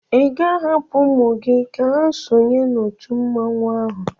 ị ga-ahapụ ụmụ gị ka ha sonye n'òtù mmanwụ ahụ?